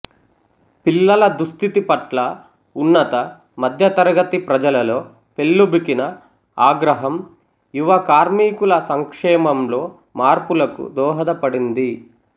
పిల్లల దుస్థితి పట్ల ఉన్నత మధ్యతరగతి ప్రజలలో పెల్లుబికిన ఆగ్రహం యువ కార్మికుల సంక్షేమంలో మార్పులకు దోహదపడింది